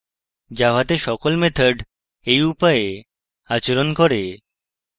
জাভাতে সকল methods এই উপায়ে আচরণ করে